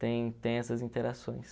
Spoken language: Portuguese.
tem tem essas interações.